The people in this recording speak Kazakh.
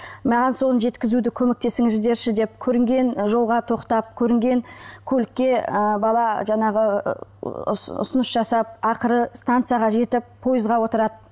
маған соны жеткізуді көмектесіңіздерші деп көрінген жолға тоқтап көрінген көлікке ы бала жаңағы ұсыныс жасап ақыры станцияға жетіп пойызға отырады